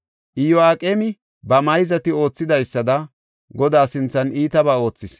Iyo7aqeemi ba mayzati oothidaysada, Godaa sinthan iitabaa oothis.